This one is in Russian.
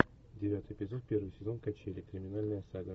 девятый эпизод первый сезон качели криминальная сага